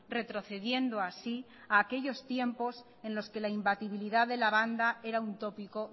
retrocediendo así a aquellos tiempos en los que la imbatibilidad de la banda era un tópico